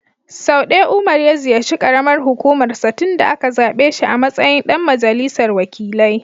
Sau ɗaya Umar ya ziyarci ƙaramar hukumar sa tun da aka zaɓe shi a matsayin ɗan majalisar wakilai.